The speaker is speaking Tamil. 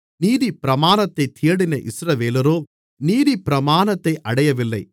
நீதிப்பிரமாணத்தைத் தேடின இஸ்ரவேலரோ நீதிப்பிரமாணத்தை அடையவில்லை